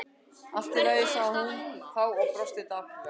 Allt í lagi- sagði hún þá og brosti dapurlega.